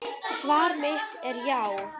Svar mitt er já.